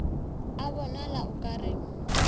a bonala o ka re